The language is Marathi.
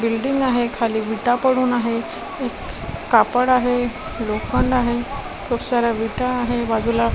बिल्डिंग आहे खाली विटा पडून आहे एक कापड आहे लोखंड आहे खूप साऱ्या विटा आहे बाजूला --